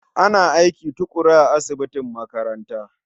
Ana aiki tuƙuru a asibitin makaranta.